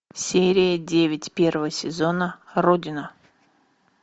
серия девять первого сезона родина